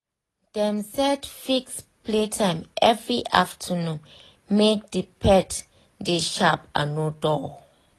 dem set fixed playtime every afternoon make um the pet dey sharp and no dull